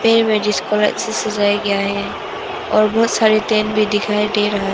पेड़ में जिसको अच्छे से सजाया गया है और बहोत सारे टेंट भी दिखाई दे रहा--